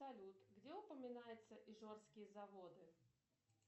салют где упоминаются ижорские заводы